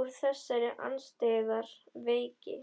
úr þessari andstyggðar veiki.